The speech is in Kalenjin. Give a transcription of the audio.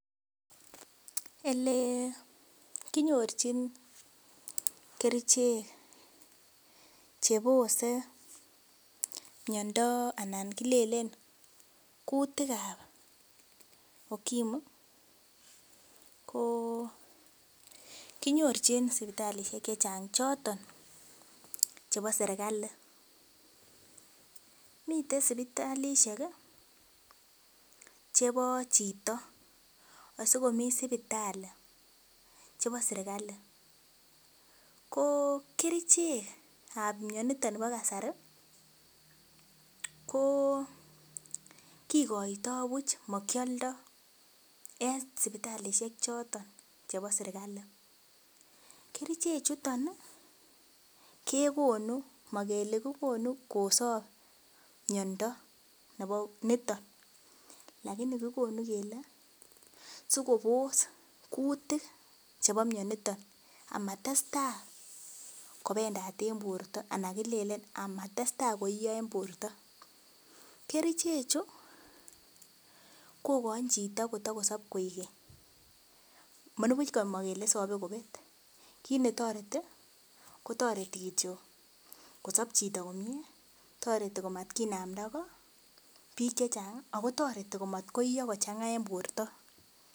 Ele kinyorchin kerichek che bose miondo anan kilelen kuutikab ukimu, ko kinyorchin sipitalisiek che chang choton chebo Serikali, mitei sipitalisiek ii chebo chito asikomi sipitali che bo Serikali, ko kerichekab mionitok bo kasari ko kikoitoi buch makioldoi en sipitalisiek choton chebo Serikali, kerichechuton ii, kekonu makele kikonu kosop miondo niton lakini kikonu kele sikobos kuutik chebo mioniton amatestai kobendaat en borta anan kilelen amatestai koiyo en borta, kerichechu kokain chito kota kosop koek keny, manibuch komakele isopi kobet, kiit ne toreti, ko toreti kityo kosop chito komie, toreti komatkinamdago, piik che chang ii, akotoreti ko mat koiyo kochanga en borta.